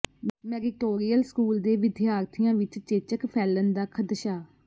meritorious school ਦੇ ਵਿਦਿਆਰਥੀਆਂ ਵਿੱਚ ਚੇਚਕ ਫ਼ੈਲਣ ਦਾ ਖ਼ਦਸ਼ਾ